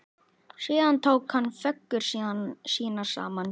Síðan tók hann föggur sínar saman.